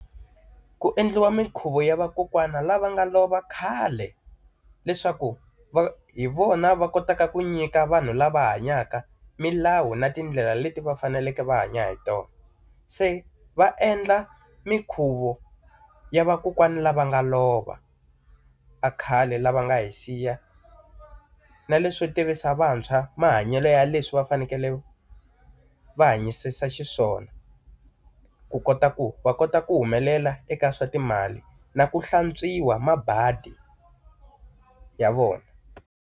Ku endliwa minkhuvo ya vakokwani lava nga lova khale, leswaku va hi vona va kotaka ku nyika vanhu lava hanyaka milawu na tindlela leti va faneleke va hanya hi tona. Se va endla minkhuvo ya vakokwani lava nga lova va khale lava nga hi siya. Na leswo tivisa vantshwa mahanyelo ya leswi va fanekele va hanyisisa xiswona, ku kota ku va kota ku humelela eka swa timali na ku hlantswiwa mabadi ya vona.